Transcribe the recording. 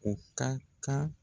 O ka kan